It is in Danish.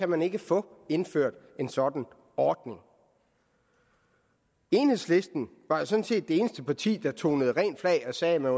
man ikke få indført en sådan ordning enhedslisten var sådan set det eneste parti der tonede rent flag og sagde at man